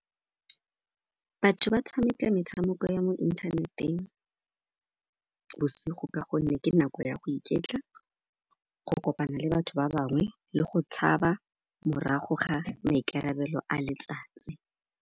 Batho ba tshameka metshameko ya mo inthaneteng bosigo ka gonne ke nako ya go iketla, go kopana le batho ba bangwe le go tshaba morago ga maikarabelo a letsatsi.